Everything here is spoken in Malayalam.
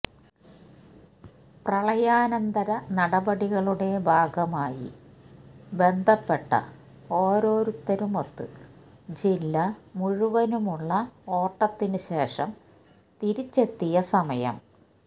പ്രളയാനന്തര നടപടികളുടെ ഭാഗമായി ബന്ധപ്പെട്ട ഓരോരുത്തരുമൊത്ത് ജില്ല മുഴുവനുമുള്ള ഓട്ടത്തിനു ശേഷം തിരിച്ചെത്തിയ സമയം